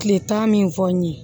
Kile tan min fɔ n ye